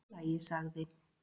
Allt í lagi sagði